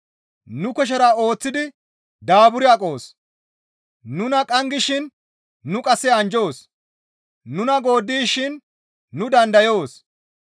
Nu kushera ooththi daaburi aqoos; nuna qanggishin nu qasse anjjoos; nuna gooddishin nu dandayoos.